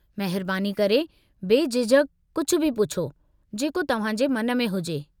महिरबानी करे बेझिझक कुझु बि पुछो, जेको तव्हां जे मन में हुजे।